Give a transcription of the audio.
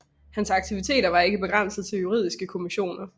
Hans aktiviteter var ikke begrænset til juridiske kommissioner